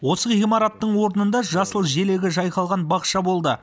осы ғимараттың орнында жасыл желегі жайқалған бақша болды